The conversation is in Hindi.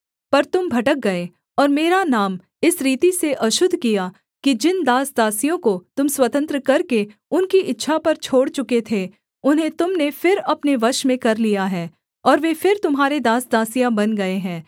पर तुम भटक गए और मेरा नाम इस रीति से अशुद्ध किया कि जिन दास दासियों को तुम स्वतंत्र करके उनकी इच्छा पर छोड़ चुके थे उन्हें तुम ने फिर अपने वश में कर लिया है और वे फिर तुम्हारे दास दासियाँ बन गए हैं